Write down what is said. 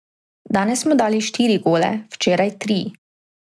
Danes smo dali štiri gole, včeraj tri.